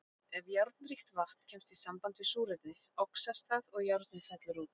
Ef járnríkt vatn kemst í samband við súrefni, oxast það og járnið fellur út.